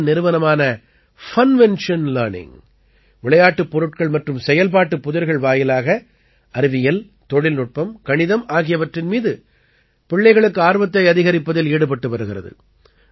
புணேயின் நிறுவனமான Funvention Learning விளையாட்டுப் பொருட்கள் மற்றும் செயல்பாட்டுப் புதிர்கள் வாயிலாக அறிவியல் தொழில்நுட்பம் கணிதம் ஆகியவற்றின் மீது பிள்ளைகளுக்கு ஆர்வத்தை அதிகரிப்பதில் ஈடுபட்டு வருகிறது